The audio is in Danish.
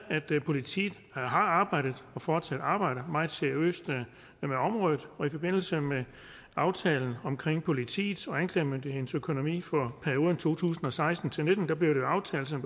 politiet har arbejdet og fortsat arbejder meget seriøst med området og i forbindelse med aftalen om politiets og anklagemyndighedens økonomi for perioden to tusind og seksten til nitten blev det jo aftalt som